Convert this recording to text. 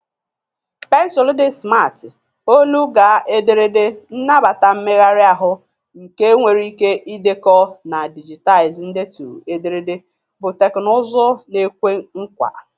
Pensụl di simarti, olu-gaa-ederede, nnabata mmegharị ahụ nke nwere ike ịdekọ na dijitaizi ndetu ederede bụ teknụzụ na-ekwe nkwa.